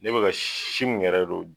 Ne bɛ ka si min yɛrɛ do